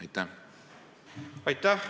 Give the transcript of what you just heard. Aitäh!